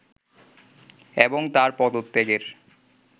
এবং তার পদত্যাগের